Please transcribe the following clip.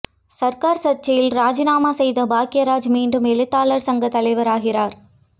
சர்கார் சர்ச்சையில் ராஜினாமா செய்த பாக்யராஜ் மீண்டும் எழுத்தாளர் சங்க தலைவராகிறார்